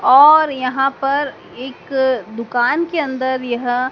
और यहां पर एक दुकान के अंदर यह--